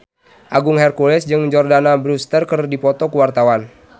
Agung Hercules jeung Jordana Brewster keur dipoto ku wartawan